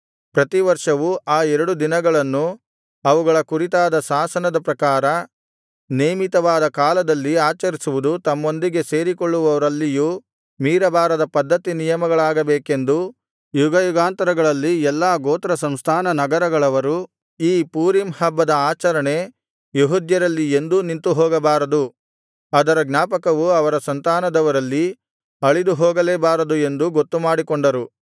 ಪ್ರತಿವರ್ಷವೂ ಆ ಎರಡು ದಿನಗಳನ್ನು ಅವುಗಳ ಕುರಿತಾದ ಶಾಸನದ ಪ್ರಕಾರ ನೇಮಿತವಾದ ಕಾಲದಲ್ಲಿ ಆಚರಿಸುವುದು ತಮ್ಮೊಂದಿಗೆ ಸೇರಿಕೊಳ್ಳುವವರಲ್ಲಿಯೂ ಮೀರಬಾರದ ಪದ್ಧತಿ ನಿಯಮಗಳಾಗಬೇಕೆಂದೂ ಯುಗಯುಗಾಂತರಗಳಲ್ಲಿ ಎಲ್ಲಾ ಗೋತ್ರ ಸಂಸ್ಥಾನ ನಗರಗಳವರು ಈ ಪೂರೀಮ್ ಹಬ್ಬದ ಆಚರಣೆ ಯೆಹೂದ್ಯರಲ್ಲಿ ಎಂದೂ ನಿಂತುಹೋಗಬಾರದು ಅದರ ಜ್ಞಾಪಕವು ಅವರ ಸಂತಾನದವರಲ್ಲಿ ಅಳಿದುಹೋಗಲೇಬಾರದು ಎಂದೂ ಗೊತ್ತುಮಾಡಿಕೊಂಡರು